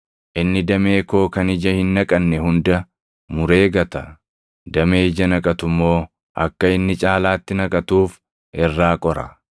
Inni damee koo kan ija hin naqanne hunda muree gata; damee ija naqatu immoo akka inni caalaatti naqatuuf irraa qora.